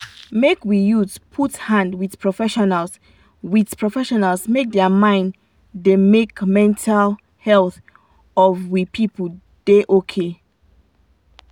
make we youths put hand with profeesionals with profeesionals make dia mind da make mental health of we people da okay